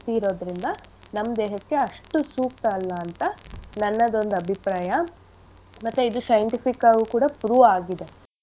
ಇರೋದ್ರಿಂದ ನಮ್ ದೇಹಕ್ಕೆ ಅಷ್ಟು ಸೂಕ್ತ ಅಲ್ಲ ಅಂತ ನನ್ನದೊಂದ್ ಅಭಿಪ್ರಾಯ. ಮತ್ತೆ ಇದು scientific ಆಗಿ ಕೂಡ prove ಆಗಿದೆ.